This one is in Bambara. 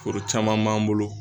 Foro caman b'an bolo